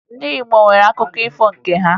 Ndị Igbo nwere akụkọ ifo nke ha